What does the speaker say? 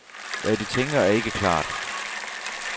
Hvad de tænker er ikke klart.